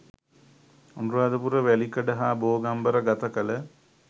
අනුරාධපුර වැලිකඩ හා බෝගම්බර ගත කළ